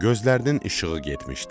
Gözlərinin işığı getmişdi.